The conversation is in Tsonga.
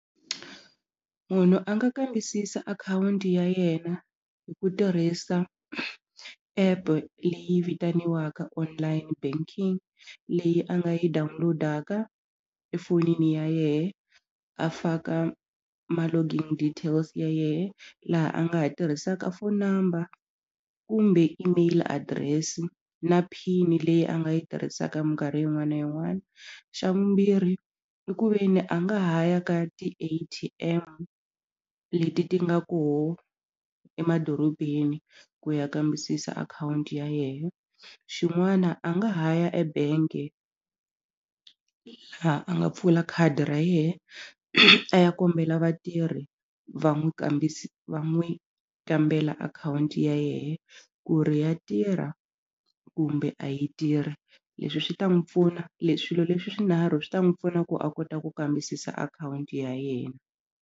Munhu a nga kambisisa akhawunti ya yena hi ku tirhisa app leyi vitaniwaka online banking leyi a nga yi download-aka efonini ya yehe a faka ma login details ya yehe laha a nga ha tirhisaka phone number kumbe email address na pin leyi a nga yi tirhisaka minkarhi yin'wana na yin'wana xa vumbirhi i ku ve ni a nga ha ya ka ti-A_T_M leti ti nga koho emadorobeni ku ya kambisisa akhawunti ya yehe xin'wana a nga ha ya ebank-e laha a nga pfula khadi ra yehe a ya kombela vatirhi va n'wi va n'wi kambela akhawunti ya yehe ku ri ya tirha kumbe a yi tirhi leswi swi ta n'wi pfuna swilo leswi swinharhu swi ta n'wi pfuna ku a kota ku kambisisa akhawunti ya yena.